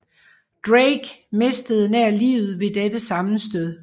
Drake mistede nær livet ved dette sammenstød